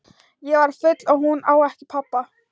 Ég var full og hún á ekki pabba.